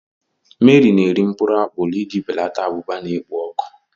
Mary na-eri mkpụrụ apụl iji belata abụba na-ekpo ọkụ.